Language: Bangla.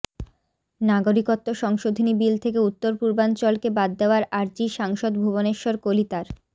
নাগরিকত্ব সংশোধনী বিল থেকে উত্তর পূর্বাঞ্চলকে বাদ দেওয়ার আর্জি সাংসদ ভুবনেশ্বর কলিতার